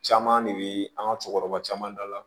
Caman de bɛ an ka cɛkɔrɔba caman dala